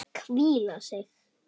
Hvíla sig.